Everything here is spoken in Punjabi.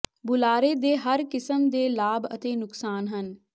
ਬੁਲਾਰੇ ਦੇ ਹਰ ਕਿਸਮ ਦੇ ਲਾਭ ਅਤੇ ਨੁਕਸਾਨ ਹਨ